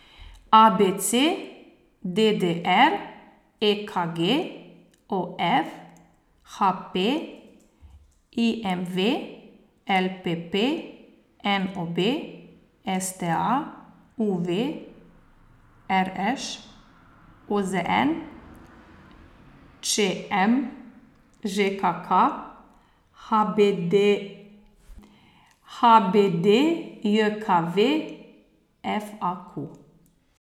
A B C; D D R; E K G; O F; H P; I M V; L P P; N O B; S T A; U V; R Š; O Z N; Č M; Ž K K; H B D H B D J K V; F A Q.